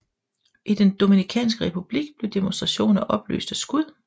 I den Dominikanske Republik blev demonstrationer opløst af skud